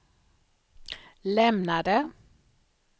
lämnade